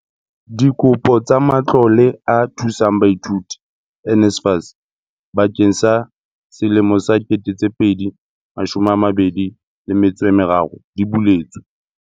Dikopo tsa Matlole a Thusang Baithuti NSFAS bakeng sa 2023 di buletswe.